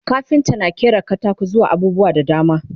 kafinta na ƙera katako zuwa abubuwa da dama